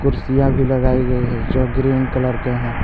कुर्सियां भी लगाई गयी है जो ग्रीन कलर के हैं।